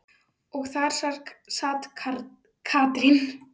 Og þar sat Katrín.